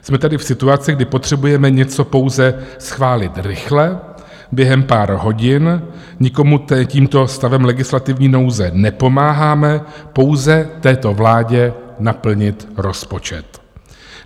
Jsme tady v situaci, kdy potřebujeme něco pouze schválit rychle, během pár hodin, nikomu tímto stavem legislativní nouze nepomáháme, pouze této vládě naplnit rozpočet.